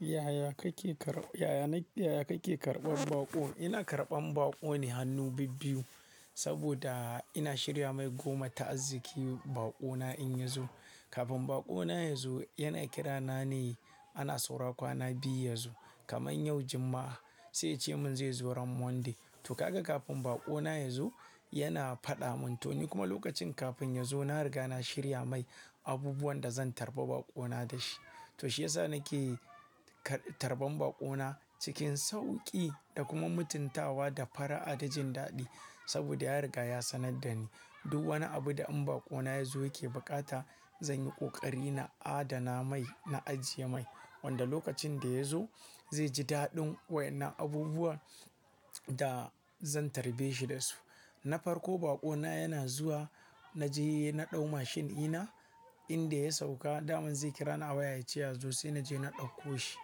Yaya kake karɓan baƙo? Ina karɓan baƙo ne hannu bibbiyu saboda ina shirya mai goma ta'azziki baƙo na in ya zo. Kafin baƙo na ya zo, yana kirana ne ana saura kwana biyu ya zo. Kamar yau Juma'a, sai yace mun zai zo ran Monday. To kaga kafin baƙo na ya zo, yana faɗa mun to ni kuma lokacin kafin ya zo na riga na shirya mai abubuwan da zan tarba baƙo na dashi. To shi yasa nake tarban baƙo na cikin sauƙi da kuma mutuntawa da fara'a dajin daɗi. Saboda ya riga ya sanar da ni duk wani abu da in baƙo na ya zo yake bukata, zan yi ƙoƙari na adana mai, na ajiye mai. Wanda lokacin da ya zo zai ji daɗin waɗannan abubuwa da zan tarbe shi da su. Na farko baƙo na yana zuwa, na je na ɗau mashin dina, inda ya sauka, daman zai kira ni a waya yace yazo sai naje na ɗauko shi.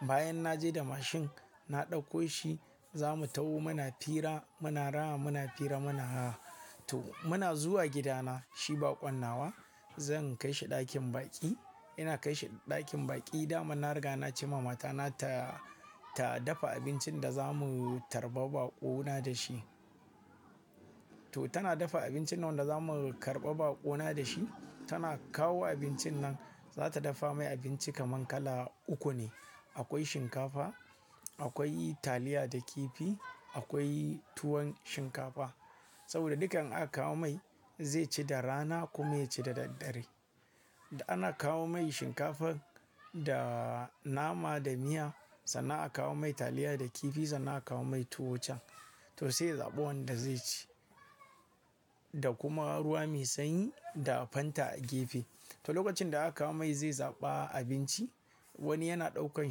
Bayan na je da mashin, na ɗauko shi, za mu taho muna fira, muna rana muna fira muna ha. To muna zuwa gida na, shi baƙon nawa, zan kai shi ɗakin baƙi. Ina kai shi ɗakin baƙi dama na riga na ce ma matana ta dafa abincin da za mu tarba baƙo na dashi. To tana dafa abincin nan wanda za mu karɓa baƙo na dashi. Tana kawo abincin nan, za ta dafa mai abinci kaman kala uku ne. Akwai shinkafa, akwai taliya da kifi, akwai tuwon shinkafa. Saboda dukka in aka kawo mai zai ci da rana kuma ya ci da daddare. Da ana kawo mai shinkafan da nama da miya, sannan a kawo mai taliya da kifi, sannan a kawo mai tuwo can. To sai ya zaɓa wanda zai ci. Da kuma ruwa mai sanyi da Fanta a gefe. To lokacin da aka kawo mai zai zaɓa abinci, wani yana ɗaukan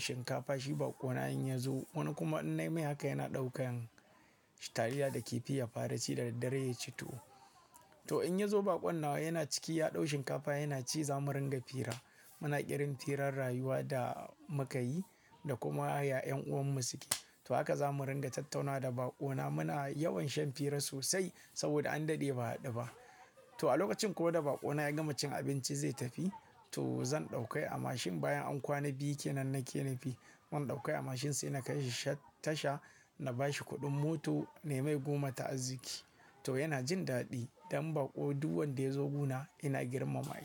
shinkafa shi baƙon na in ya zo, wani kuma in nai mai haka yana ɗaukan taliya da kifi ya fara ci da daddare ya ci tuwo. To in ya zo baƙon nawa yana ciki, ya ɗau shinkafa yana ci za mu ringa fira. Muna ƙirin firan rayuwa da muka yi da kuma yaya ƴan'uwan mu suke. To haka za mu ringa tattauna da baƙo na muna yawan shan fira sosai saboda an daɗe ba a haɗu ba. To a lokacin kuma da baƙo na ya gama cin abinci zai tafi. To zan ɗauka a mashin bayan an kwana biyu kenan nake nafi. Mun ɗauke shi a mashin sai na kai shi tasha, na ba shi kuɗin mota ne mai goma ta'azziki. To yana jin daɗi. Dan baƙo duk wanda ya zo gona ina girmama shi.